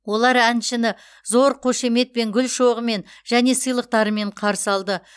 олар әншіні зор қошеметпен гүл шоғымен және сыйлықтарымен қарсы алды